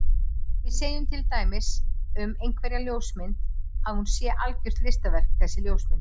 Við segjum þá til dæmis um einhverja ljósmynd að hún sé algjört listaverk þessi ljósmynd.